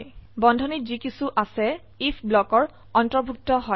বন্ধনীত যি কিছু আছে আইএফ ব্লকৰ অন্তৰ্ভুক্ত হয়